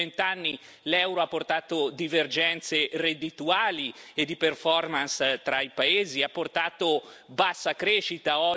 In questi vent'anni l'euro ha portato divergenze reddituali e di performance tra i paesi, ha portato bassa crescita.